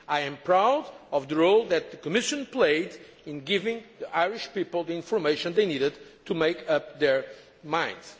I am proud of the role that the Commission played in giving the Irish people the information they needed to make up their minds.